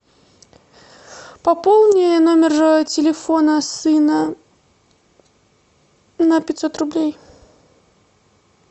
пополни номер телефона сына на пятьсот рублей